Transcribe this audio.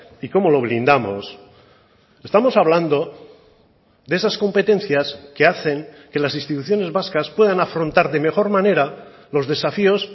y cómo lo blindamos estamos hablando de esas competencias que hacen que las instituciones vascas puedan afrontar de mejor manera los desafíos